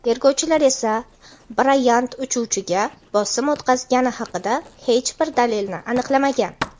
Tergovchilar esa Brayant uchuvchiga bosim o‘tkazgani haqida hech bir dalilni aniqlamagan.